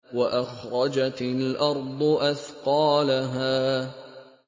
وَأَخْرَجَتِ الْأَرْضُ أَثْقَالَهَا